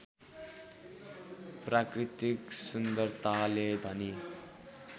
प्राकृतिक सुन्दरताले धनी